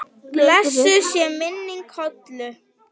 Blessuð sé minning Hollu.